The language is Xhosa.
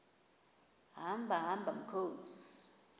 hamba hamba mkhozi